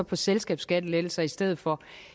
på selskabsskattelettelser i stedet for